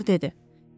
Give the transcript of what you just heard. doktor dedi.